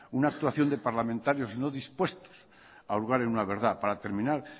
una actuación de parlamentarios no dispuestos a hurgar en una verdad para terminar